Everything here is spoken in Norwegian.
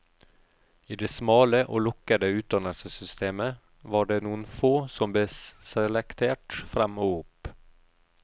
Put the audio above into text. I det smale og lukkede utdannelsessystemet var det noen få som ble selektert frem og opp.